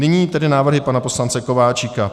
Nyní tedy návrhy pana poslance Kováčika.